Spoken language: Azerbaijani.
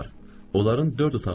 Onların dörd otağı var.